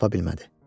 Tapa bilmədi.